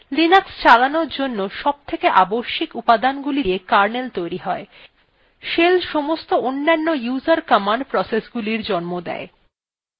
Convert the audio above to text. linux চালানোর জন্য সবথেকে আবশ্যিক উপাদানগুলি দিয়ে কার্নেল তৈরী হয় shell সমস্ত অন্যান্য user command processesগুলি জন্ম দেয়